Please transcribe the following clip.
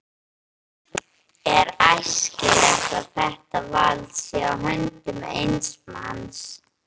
Er æskilegt að þetta vald sé í höndum eins manns?